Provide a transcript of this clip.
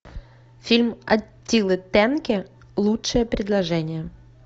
фильм аттилы тенки лучшее предложение